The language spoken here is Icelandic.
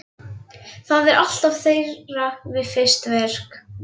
Það er alltaf þeirra fyrsta verk.